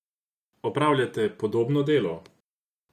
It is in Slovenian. Opravljate podobno delo?